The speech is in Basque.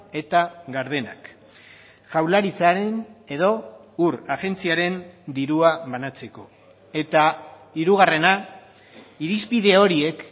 eta gardenak jaurlaritzaren edo ur agentziaren dirua banatzeko eta hirugarrena irizpide horiek